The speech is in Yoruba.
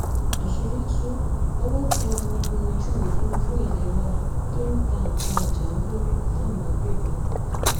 àṣírí tú owó tẹ ọmọ ogun ojú òfúrufú ilé wa tó ń ta nǹkan ìjà olóró fáwọn agbébọ̀n